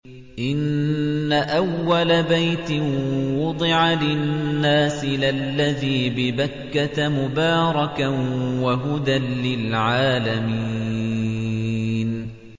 إِنَّ أَوَّلَ بَيْتٍ وُضِعَ لِلنَّاسِ لَلَّذِي بِبَكَّةَ مُبَارَكًا وَهُدًى لِّلْعَالَمِينَ